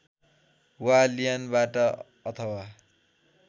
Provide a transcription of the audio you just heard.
वा लियनबाट अथवा